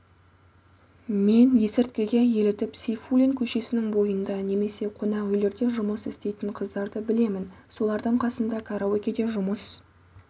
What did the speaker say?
мен есірткіге елітіп сейфуллин көшесінің бойында немесе қонақүйлерде жұмыс істейтін қыздарды білемін солардың қасында караокеде жұмыс